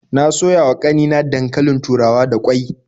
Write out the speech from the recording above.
Na soya wa ƙanina dankalin turawa da ƙwai.